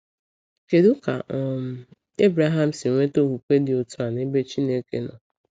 Kedu ka um Ebreham si nweta okwukwe dị otu a n’ebe Chineke nọ?